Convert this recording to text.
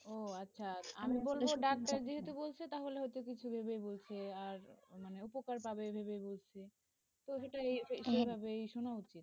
ও আচ্ছা, আমি বলব ডাক্তার যেহেতু বলছে, তাহলে হয়ত কিছু ভেবে বলছে, আর উপকার পাবে মানে ভেবে বলছে, তো সেটা সেভাবেই শোন,